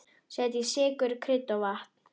Setjið sykur, krydd og vatn.